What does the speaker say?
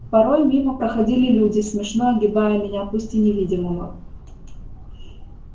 порой мимо проходили люди смешно огибая меня пусть и невидимого